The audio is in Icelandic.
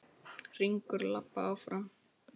Hringur labba áfram.